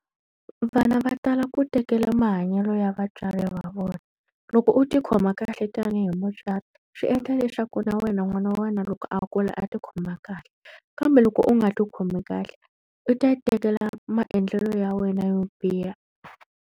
Vana va tala ku tekela mahanyelo ya vatswari va vona. Loko u ti khoma kahle tanihi mutswari, swi endla leswaku na wena n'wana wa wena loko a kula a ti khoma kahle. Kambe loko u nga ti khomi kahle, u ta ya tekela maendlelo ya wena yo biha.